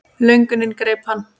Löngunin greip hann.